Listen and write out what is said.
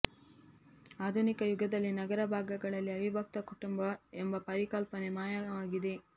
ಆಧುನಿಕ ಯುಗದಲ್ಲಿ ನಗರ ಭಾಗಗಳಲ್ಲಿ ಅವಿಭಕ್ತ ಕುಟುಂಬ ಎಂಬ ಪರಿಕಲ್ಪನೆ ಮಾಯವಾಗಿದೆ